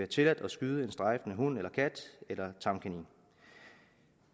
tilladt at skyde en strejfende hund eller kat eller tamkanin